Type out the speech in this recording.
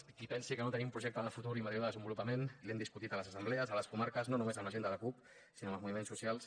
per a qui pensi que no tenim projecte de futur i model de desenvolupament l’hem discutit a les assemblees a les comarques no només amb la gent de la cup sinó amb els moviments socials